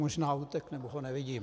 Možná utekl nebo ho nevidím.